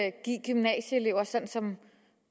at give gymnasieeleverne sådan som